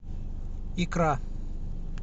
икра